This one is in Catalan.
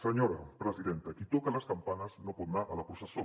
senyora presidenta qui toca les campanes no pot anar a la processó